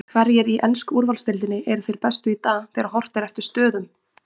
Hverjir í ensku úrvalsdeildinni eru þeir bestu í dag þegar horft er eftir stöðum?